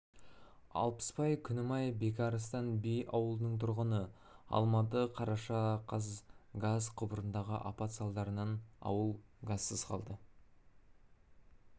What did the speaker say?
алпысбай күнімай бекарыстан би ауылының тұрғыны алматы қараша қаз газ құбырындағы апат салдарынан ауыл газсыз қалды